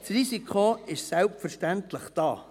Das Risiko ist selbstverständlich da.